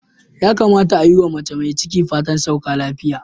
Ya kamata a yi wa mace mai ciki fatan sauka afiya.,